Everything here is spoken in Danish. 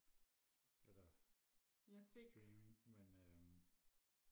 eller streaming men øhm